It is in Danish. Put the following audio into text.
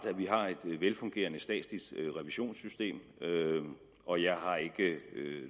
at vi har et velfungerende statsligt revisionssystem og jeg har ikke